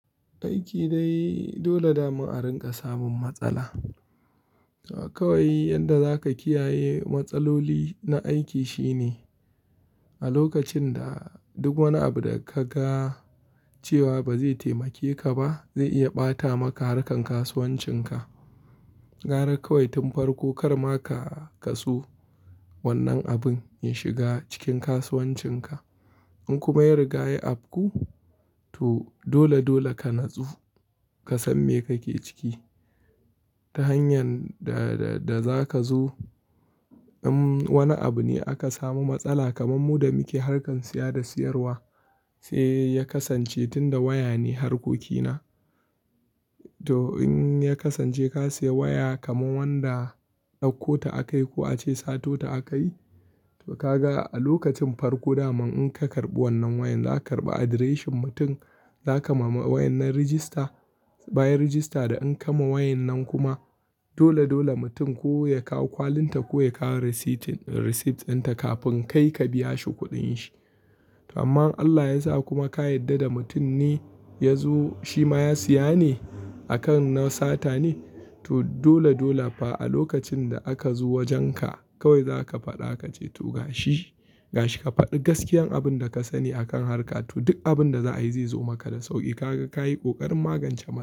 Aiki dai dole damu a rinƙa samun matsala. Kawai yanda zaka kiyaye matsaloli na aiki shine a lokacin da duk wani abu da ka ga cewa ba zai taimakeka ba zai iya ɓata maka harkar kasuwancinka. Gara kawai tun farko kar ma ka kasu wannan abin ya shiga cikin kasuwancinka. In kuma ya riga ya afku to dole dole ka natsu, ka san me kake ciki ta hanyar da-da za ka zo. In wani abu ne aka samu matsala kamar mu da muke harkar siya da siyarwa sai ya kasance tunda waya ne harkokina. To in ya kasance ka siya waya kamar wanda ɗauko ta akayi ko ace sato ta akayi to ka ga a lokacin farko daman in ka karɓi wannan wayan za ka karɓi address mutum, za ka ma wayan nan register. Bayan register da an kama wayan nan kuma dole dole mutum ko ya kawo kwalin ta ko ya kawo receipts ɗinta kafin kai ka biya shi kuɗin shi. Amma Allah yasa kuma ka yarda da mutum ne ya zo shi ma ya siya ne akan na sata ne to dole dole fa a lokacin da aka zo wajenka kawai zaka faɗa kace to ga shi, ga shi ka faɗi gaskiyan abun da ka sani akan harka to duk abun da za a yi zai zo maka da sauƙi. Kaga ka yi ƙoƙarin magance.